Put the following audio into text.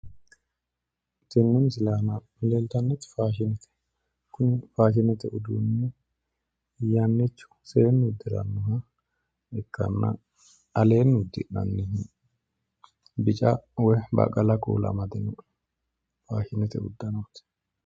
Tenne misile aana leeltannoti faashinete. Kunibfaashinete uduunni yannichu seenni uddirannoha ikkanna aleenni uddi'nannihu bica woyi baqala kuula amadino faashinete uddanooti.